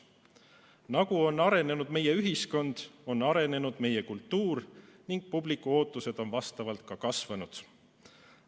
Nagu on arenenud meie ühiskond, on arenenud ka meie kultuur ning publiku ootused on vastavalt kasvanud.